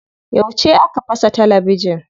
Yauce aka fasa talabijin?